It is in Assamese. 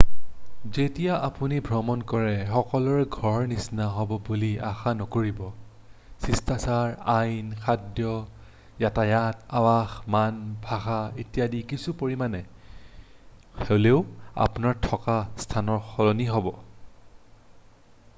"যেতিয়া আপুনি ভ্ৰমণ কৰে সকলোবোৰ "ঘৰৰ নিচিনা" হব বুলি আশা নকৰিব । শিষ্টাচাৰ আইন খাদ্য যাতায়ত আবাস মান ভাষা ইত্যাদি কিছু পৰিমাণে হ'লেও আপোনাৰ থকা স্থানতকৈ সলনি হ'ব।""